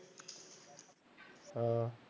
ਹਾਂ